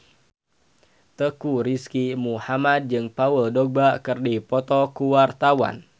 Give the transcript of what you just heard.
Teuku Rizky Muhammad jeung Paul Dogba keur dipoto ku wartawan